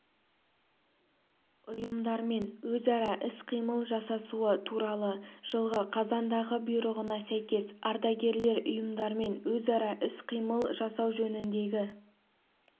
ұйымдармен өзара іс-қимыл жасасуы туралы жылғы қазандағы бұйрығына сәйкес ардагерлер ұйымдармен өзара іс-қимыл жасау жөніндегі